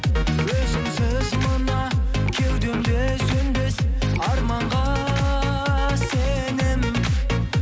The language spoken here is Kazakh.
өзіңсіз мына кеудемде сөнбес арманға сенемін